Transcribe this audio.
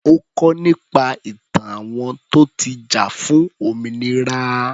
Ó kọ́ nípa ìtàn àwọn tó ti jà fún òmìnira.